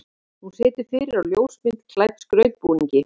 Hún situr fyrir á ljósmynd klædd skautbúningi.